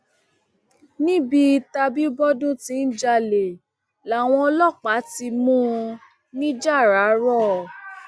níbi tàbìbọdún tí ń jalè làwọn ọlọpàá ti mú un nìjáràró